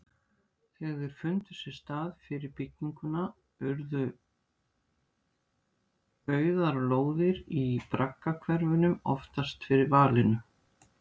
Þegar þeir fundu sér stað fyrir bygginguna urðu auðar lóðir í braggahverfunum oftast fyrir valinu.